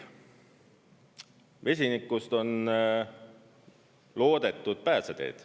Vesinikust on loodetud pääseteed.